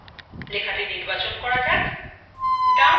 লেখাটি নির্বাচন করা যাক